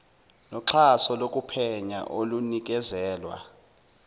noxhaso lokuphenya olunikezelwa